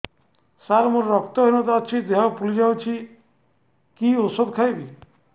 ସାର ମୋର ରକ୍ତ ହିନତା ଅଛି ଦେହ ଫୁଲି ଯାଉଛି କି ଓଷଦ ଖାଇବି